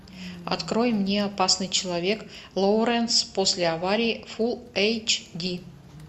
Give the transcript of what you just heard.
открой мне опасный человек лоуренс после аварии фулл эйч ди